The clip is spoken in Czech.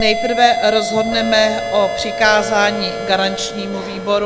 Nejprve rozhodneme o přikázání garančnímu výboru.